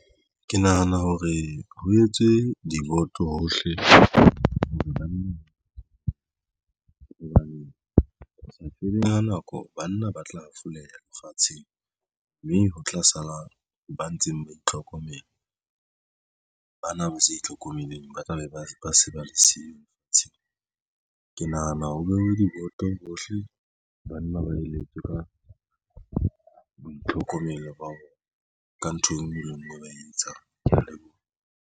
Ke nahana hore ho etswe diboto hohle hore banna hobane o sa tsebeng ho nako banna ba tla hafoleha lefatsheng mme ho tla sala ba ntseng ba itlhokomela. Bana ba sa itlhokomeleng ba tlabe ba se ba se ba le siye le fatsheng. Ke nahana ho jwale diboto bohle banna ba eletswe ka boitlhokomelo ka ntho enngwe le enngwe e ba e etsang. Ke ya leboha.